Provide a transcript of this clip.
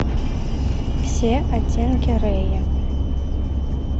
все оттенки рэя